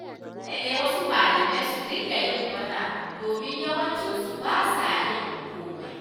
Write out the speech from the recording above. Dole ne wasu malaman su dinga yin bara, domin yawancinsu ba sa yin komai.